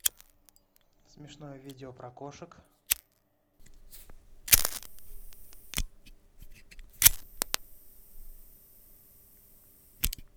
смешное видео про кошек